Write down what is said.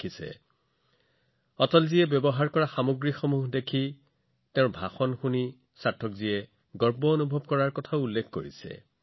যেতিয়া তেওঁ সংগ্ৰহালয়ত অটলজীয়ে ব্যৱহাৰ কৰা বস্তুবোৰ দেখিছিল তেওঁৰ ভাষণ শুনিছিল তেওঁ গৌৰৱেৰে ভৰি পৰিছিল